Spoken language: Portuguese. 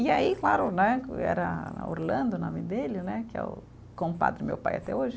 E aí, claro né, que era Orlando o nome dele né, que é o compadre do meu pai até hoje.